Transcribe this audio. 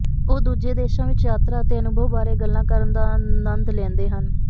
ਉਹ ਦੂਜੇ ਦੇਸ਼ਾਂ ਵਿਚ ਯਾਤਰਾ ਅਤੇ ਅਨੁਭਵ ਬਾਰੇ ਗੱਲ ਕਰਨ ਦਾ ਅਨੰਦ ਲੈਂਦੇ ਹਨ